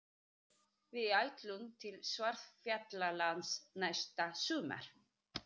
Við ætlum til Svartfjallalands næsta sumar.